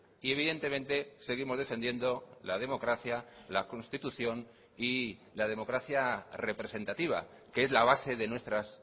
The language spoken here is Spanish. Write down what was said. y evidentemente seguimos defendiendo la democracia la constitución y la democracia representativa que es la base de nuestras